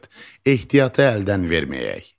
Dörd: Ehtiyatı əldən verməyək.